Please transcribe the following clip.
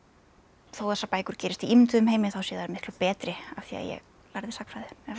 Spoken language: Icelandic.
þó þessar bækur gerist í ímynduðum heimi þá séu þær miklu betri af því ég lærði sagnfræði